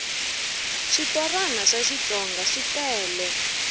switorana swa xitsonga switele